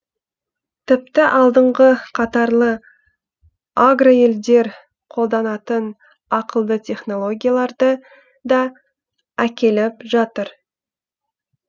тіпті алдыңғы қатарлы агроелдер қолданатын ақылды технологияларды да әкеліп жатыр